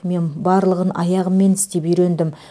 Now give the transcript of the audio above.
мен барлығын аяғыммен істеп үйрендім